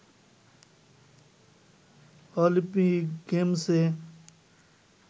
Olympic গেমসে